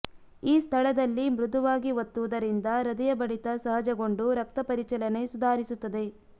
ಈ ಸ್ಥಳದಲ್ಲಿ ಮೃದುವಾಗಿ ಒತ್ತುವುದರಿಂದ ಹೃದಯ ಬಡಿತ ಸಹಜಗೊಂಡು ರಕ್ತ ಪರಿಚಲನೆ ಸುಧಾರಿಸುತ್ತದೆ